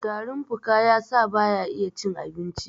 tarin fuka ya sa ba ya iya cin abinci!